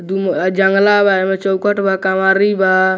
दूम अ जंगला बा एमए चौखट बा कवारी।